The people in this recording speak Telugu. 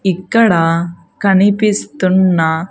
ఇక్కడ కనిపిస్తున్న.